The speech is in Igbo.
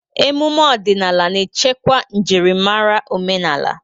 Ememe ọdịnala na-echekwa njirimara omenala.